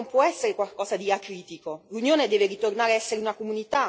L'accettazione del progetto europeo non può essere qualcosa di acritico.